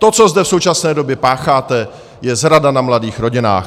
To, co zde v současné době pácháte, je zrada na mladých rodinách.